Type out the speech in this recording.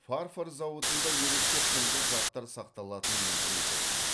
фарфор зауытында ерекше құнды заттар сақталатын музей болған